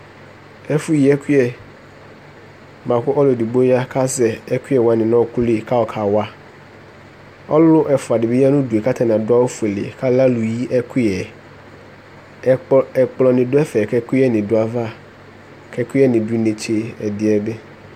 Ɛfʋyi ɛkʋ bʋa kʋ ɔlʋ edigbo ya kʋ azɛ ɛkʋyɛ wanɩ nʋ ɔɣɔkʋ li kʋ ayɔkawa Ɔlʋ ɛfʋa dɩ bɩ ya nʋ udu yɛ kʋ atanɩ adʋ awʋfuele kʋ alɛ alʋyi ɛkʋyɛ yɛ Ɛkplɔ, ɛkplɔnɩ dʋ ɛfɛ kʋ ɛkʋyɛnɩ dʋ ayava kʋ ɛkʋyɛnɩ dʋ inetse ɛdɩ yɛ bɩ